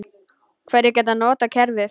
Hverjir geta notað kerfið?